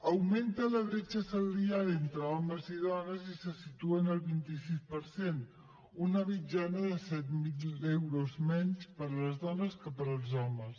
augmenta la bretxa salarial entre homes i dones i se situa en el vint sis per cent una mitjana de set mil euros menys per a les dones que per als homes